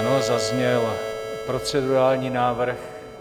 Ano, zazněl procedurální návrh.